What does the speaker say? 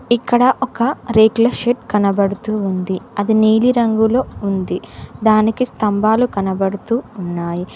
ఇక్కడ ఒక రేకుల షెడ్ కనబడుతూ ఉంది అది నీలిరంగులో ఉంది దానికి స్తంభాలు కనబడుతూ ఉన్నాయి.